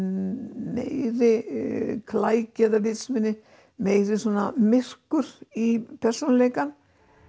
meiri klæki eða vitsmuni meira svona myrkur í persónuleikann